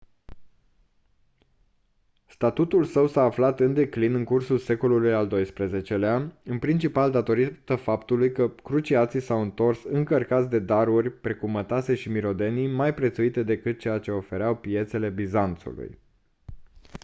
statutul său s-a aflat în declin în cursul secolului al doisprezecelea în principal datorită faptului că cruciații s-au întors încărcați de daruri precum mătase și mirodenii mai prețuite decât ceea ce ofereau piețele bizanțului